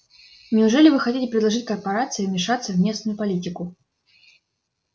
неужели вы хотите предложить корпорации вмешаться в местную политику